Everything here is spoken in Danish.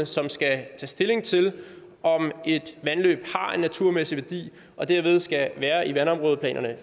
som skal tage stilling til om et vandløb har en naturmæssig værdi og dermed fortsat skal være i vandområdeplanerne